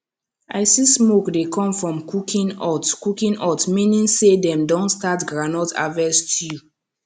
i see smoke dey come from cooking hut cooking hut meaning say dem don start groundnut harvest stew